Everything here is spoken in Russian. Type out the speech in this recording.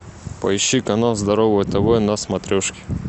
поищи канал здоровое тв на смотрешке